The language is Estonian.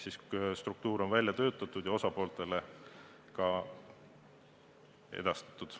Seega struktuur on välja töötatud ja osapooltele edastatud.